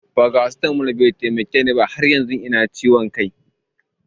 Farasitamol bai taimake ni ba, har yanzu ina kan jin ciwon kai